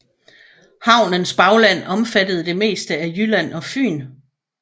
Havnens bagland omfattede det meste af Jylland og Fyn